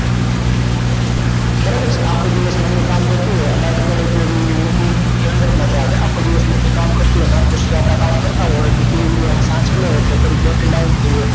બરાબર છે આખો દિવસ મમ્મી કામ કરતી હોય અને રાત પડે ઍટલે મમ્મી આખો દિવસ મમ્મી કામ કરતી હોય કામ કરતાં હોય અને તેની જગ્યા એ સાંજ પડે ઍટલે તેવી battery down થઇ જાય